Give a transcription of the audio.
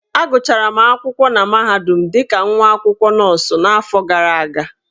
Agụchara m akwụkwọ na mahadum dị ka nwa akwụkwọ nọọsụ n'afọ gara aga.